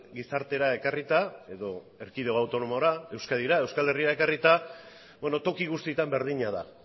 gizartera ekarrita edo erkidego autonomora euskadira euskal herrira ekarrita beno toki guztietan berdina da